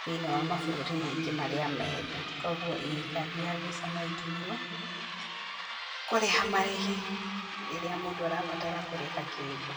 thĩ-inĩ wa mabũrũri maingĩ marĩa me thĩ, koguo ĩ kandi ya VISA noĩtũmĩrwo, kũrĩha marĩhi rĩrĩa mũndũ arabatara kũrĩha kĩndũ